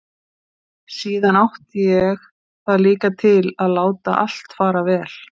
Síðan átti ég það líka til að láta allt fara vel.